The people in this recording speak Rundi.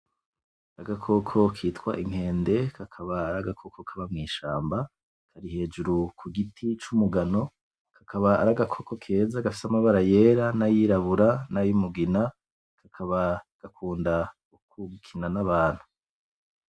Agakoko kitwa inkende, kakaba ar'agakoko kaba mw'ishamba, kari hejuru ku giti c'umugano, kakaba ar'agakoko keza gafise amabara yera; n'ayirabura; n'ayumugina, kakaba gakunda gukina n'abantu.